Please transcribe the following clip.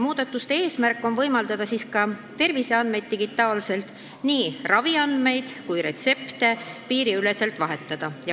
Muudatuste eesmärk on võimaldada terviseandmeid, nii raviandmeid kui ka retsepte, piiriüleselt digitaalselt vahetada.